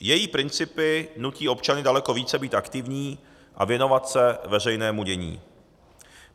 Její principy nutí občany daleko více být aktivní a věnovat se veřejnému dění.